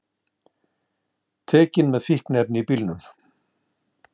Tekin með fíkniefni í bílnum